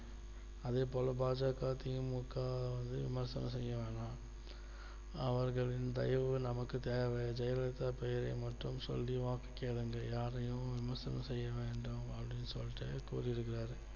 அதே போல பா ஜ க தி மு க வையும் விமர்சனம் செய்ய வேண்டாம் அவர்களின் தயவு நமக்கு தேவை ஜெயலலிதா பெயரை மட்டும் சொல்லி வாக்கு கேளுங்கள் யாரையும் விமர்சனம் செய்ய வேண்டாம் அப்படின்னு சொல்லிட்டு கூறிருக்காறு